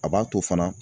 A b'a to fana